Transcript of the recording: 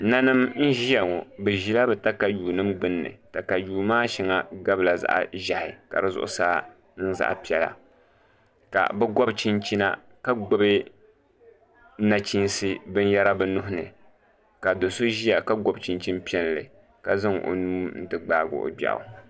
Ninim n ʒiya ŋo bi ʒila bi katayuu nim gbunni katayuu maa shɛŋa gabila zaɣ ʒiɛhi ka di zuɣusaa niŋ zaɣ piɛla ka bi gobi chinchina ka gbubi nachiinsi binyɛra bi nuuni ka do so ʒiya ka gobi chinchin piɛlli ka zaŋ o nuu n ti gbaagi o gbiaɣu